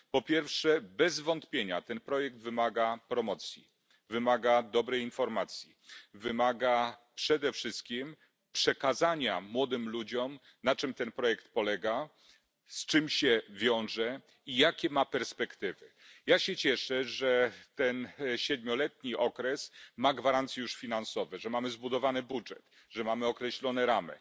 Po pierwsze, bez wątpienia ten projekt wymaga promocji, wymaga dobrej informacji, wymaga przede wszystkim przekazania młodym ludziom, na czym ten projekt polega, z czym się wiąże i jakie ma perspektywy. Cieszę się, że ten siedmioletni okres ma już gwarancje finansowe, że mamy zbudowany budżet, że mamy określone ramy.